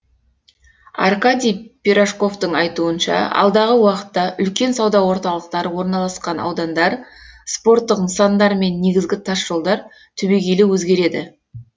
аркадий пирожковтың айтуынша алдағы уақытта үлкен сауда орталықтары орналасқан аудандар спорттық нысандар мен негізгі тасжолдар түбегейлі өзгереді